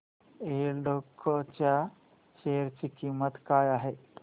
एल्डेको च्या शेअर ची किंमत काय आहे